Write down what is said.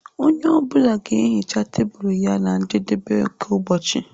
Onye ọ bụla ga-ehicha tebụl ya na njedebe nke ụbọchị.